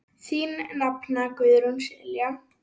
Þín nafna, Guðrún Silja.